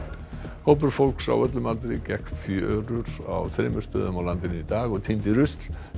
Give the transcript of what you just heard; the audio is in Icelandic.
hópur fólks á öllum aldri gekk fjörur á þremur stöðum á landinu í dag og tíndi rusl þetta